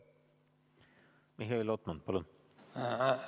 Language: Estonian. Mihhail Lotman, palun!